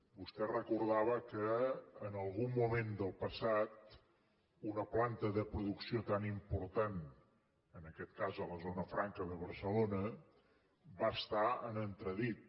vostè recordava que en algun moment del passat una planta de producció tan important en aquest cas a la zona franca de barcelona va estar en entredit